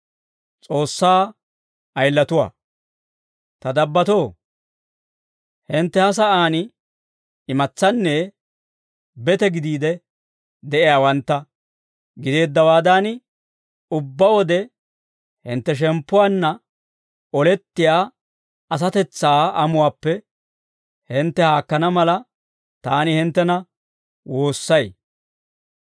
Ta dabbatoo, hintte ha sa'aan imatsaanne bete gidiide de'iyaawantta gideeddawaadan, ubbaa wode hintte shemppuwaanna olettiyaa asatetsaa amuwaappe hintte haakkana mala, taani hinttena woossay.